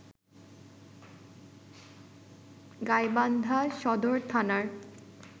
গাইবান্ধা সদর থানার